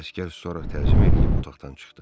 Əsgər sonra təzim eləyib otaqdan çıxdı.